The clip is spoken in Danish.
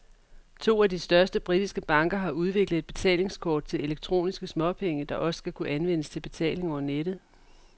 To af de største britiske banker har udviklet et betalingskort til elektroniske småpenge, der også skal kunne anvendes til betaling over nettet.